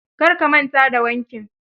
Kar ka manta da wankin.